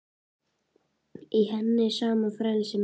Í henni sama frelsið og minni.